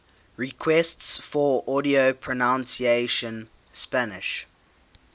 requests for audio pronunciation spanish